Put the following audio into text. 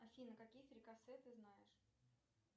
афина какие фрикасе ты знаешь